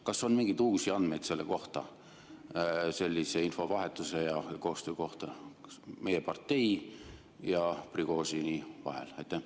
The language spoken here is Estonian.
Kas on mingeid uusi andmeid selle kohta, sellise infovahetuse ja koostöö kohta meie partei ja Prigožini vahel?